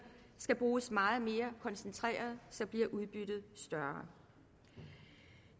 skal bruges meget mere koncentreret så bliver udbyttet større